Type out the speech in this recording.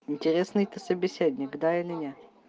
интересный ты собеседник да или не